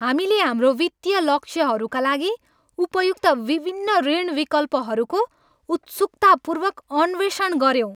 हामीले हाम्रो वित्तीय लक्ष्यहरूका लागि उपयुक्त विभिन्न ऋण विकल्पहरूको उत्सुकतापूर्वक अन्वेषण गऱ्यौँ।